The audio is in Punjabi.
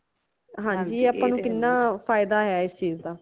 ਹਾਂਜੀ ਆਪਾ ਨੂ ਕਿੰਨਾ ਫਾਇਦਾ ਹੈ ਇਸ ਚੀਜ਼ ਦਾ